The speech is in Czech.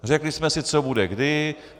Řekli jsme si, co bude kdy.